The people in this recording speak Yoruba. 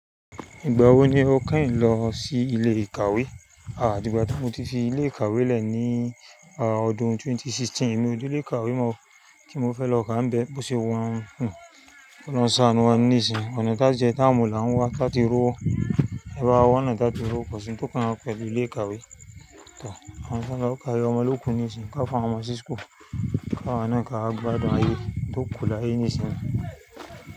Ìgbà wo ni o kẹ́yìn lọ sí ilé ìkàwé? Àdígbà tí mo ti fi ilé ìkàwé lẹ̀ ní ọdún 2016. Mi o tu lé kàwé mọ o kí n mo fẹ́ lọ kàá bẹ́ẹ̀ bó ṣe wa ń ki ọlọrun sàánú wa níìsín, ọ̀nà tá jẹ tá mu lá ń wá láti rówó, ẹ bá a wọ̀nà tá ti r'owo kosí ń tó kàn wá pẹ̀lú ilé ìkàwé. Àwọn ṣángá kà ọmọ lókù níìsín ká fún ọmọ ṣíṣkù, káwọn náà ká àgbàdá ayé tó kú láyé níìsín.